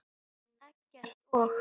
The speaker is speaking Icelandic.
Eggert og